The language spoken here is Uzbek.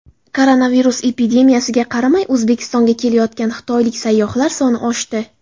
Koronavirus epidemiyasiga qaramay O‘zbekistonga kelayotgan xitoylik sayyohlar soni oshdi.